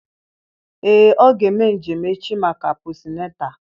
Ee ọ ga-eme njem echi maka posịnetal